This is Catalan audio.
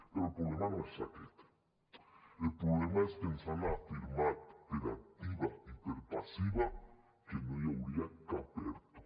però el problema no és aquest el problema és que ens han afirmat per activa i per passiva que no hi hauria cap erto